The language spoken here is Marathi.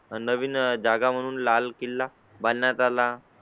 नवीन जागा म्हणून लाल किल्ला बांधण्यात आला.